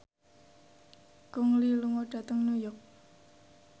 Gong Li lunga dhateng New York